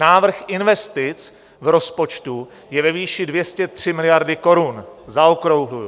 Návrh investic v rozpočtu je ve výši 203 miliard korun, zaokrouhluji.